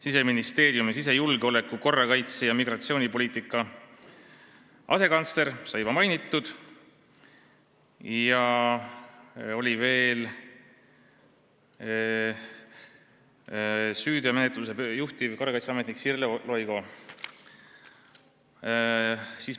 Siseministeeriumi sisejulgeoleku, korrakaitse ja migratsioonipoliitika asekantslerit sai juba mainitud, veel oli kohal PPA ennetuse ja süüteomenetluse büroo juhtivkorrakaitseametnik Sirle Loigo.